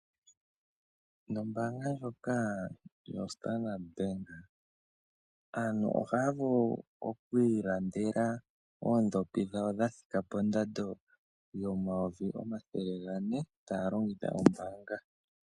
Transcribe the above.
Nombaanga yondjoka yo Standard bank aantu ohaya vulu oku ilandela oondhopi dhawo dha thika pondado yomayovi omathele gane taya longitha ombaanga.